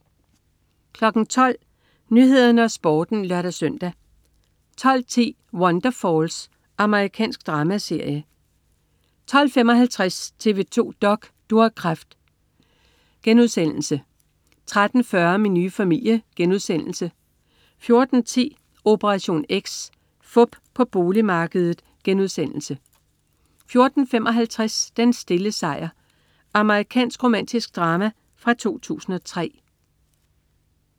12.00 Nyhederne og Sporten (lør-søn) 12.10 Wonderfalls. Amerikansk dramaserie 12.55 TV 2 dok.: Du har kræft* 13.40 Min nye familie* 14.10 Operation X. Fup på boligmarkedet* 14.55 Den stille sejr. Amerikansk romantisk drama fra 2003